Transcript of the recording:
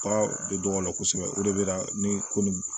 Bagan bɛ dɔgɔ la kosɛbɛ o de bɛ na ni ko nin